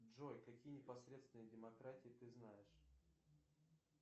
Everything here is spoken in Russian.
джой какие непосредственные демократии ты знаешь